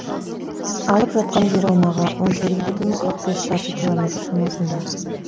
алып жатқан жер аумағы он сегіз бүтін қырық бес шаршы километр шамасында